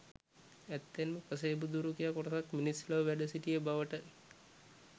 ඇත්තෙන්ම පසේබුදුවරු කියා කොටසක් මිනිස් ලොව වැඩසිටිය බවට